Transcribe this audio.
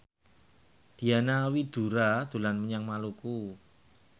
Diana Widoera dolan menyang Maluku